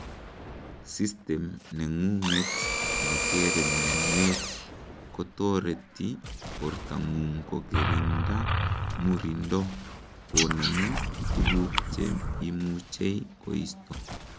system nengunget netere mianwek kotoreti bortangung kokiringda murindo konemu tuguk cheimuchei koisto